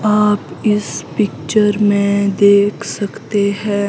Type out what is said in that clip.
आप इस पिक्चर में देख सकते हैं।